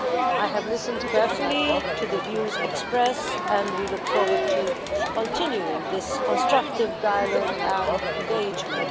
I have listened carefully to the views expressed and we look forward to continuing this constructive dialogue and engagement.